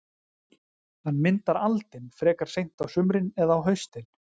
Hann myndar aldin frekar seint á sumrin eða á haustin.